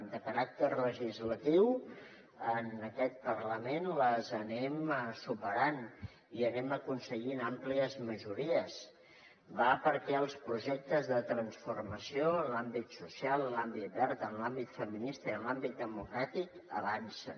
de caràcter legislatiu en aquest parlament les anem superant i anem aconseguint àmplies majories va perquè els projectes de transformació en l’àmbit social en l’àmbit verd en l’àmbit feminista i en l’àmbit democràtic avancen